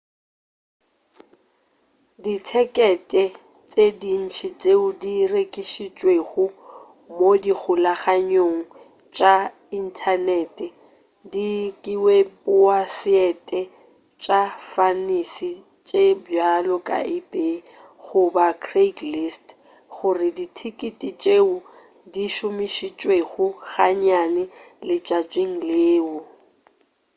dithekete tše dintši tšeo di rekišitšwego mo dikgolaganyong tša inthanete ka diweposaete tša fantisi tše bjalo ka ebay goba craigslist go ke dithekete tšeo di šomišitšwego gannyane letšatšing leo